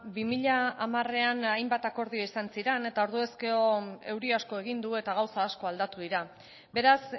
bi mila hamarean hainbat akordio izan ziren eta orduz ezkero euri asko egin du eta gauza asko aldatu dira beraz